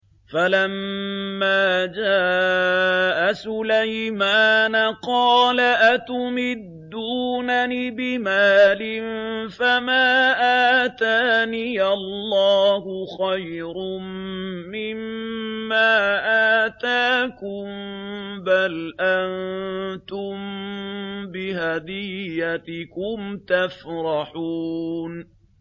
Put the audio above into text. فَلَمَّا جَاءَ سُلَيْمَانَ قَالَ أَتُمِدُّونَنِ بِمَالٍ فَمَا آتَانِيَ اللَّهُ خَيْرٌ مِّمَّا آتَاكُم بَلْ أَنتُم بِهَدِيَّتِكُمْ تَفْرَحُونَ